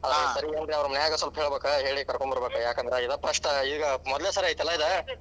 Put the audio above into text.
ಅವ್ರ ಮನ್ಯಾಗ ಸ್ವಲ್ಪ ಹೇಳಬೇಕ ಹೇಳಿ ಕರಕೊಂಡ ಬರಬೇಕ ಯಾಕಂದ್ರ ಇದ್ first ಈಗ ಮೊದಲನೆ ಸಲ ಐತಲ್ಲಾ ಇದ.